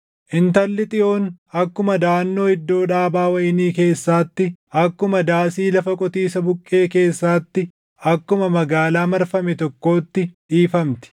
Intalli Xiyoon akkuma daʼannoo iddoo dhaabaa wayinii keessaatti, akkuma daasii lafa qotiisa buqqee keessaatti, akkuma magaalaa marfame tokkootti dhiifamti.